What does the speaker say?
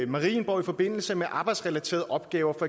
marienborg i forbindelse med arbejdsrelaterede opgaver